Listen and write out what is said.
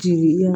Jigi ya